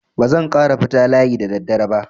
Ba zan ƙara fita layi da daddare ba.